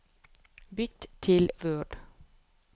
Bytt til Word